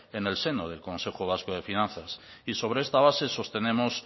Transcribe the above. en el seno del consejo vasco de finanzas y sobre esta base sostenemos